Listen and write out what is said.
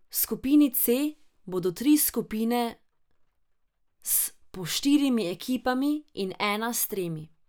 V skupini C bodo tri skupine s po štirimi ekipami in ena s tremi.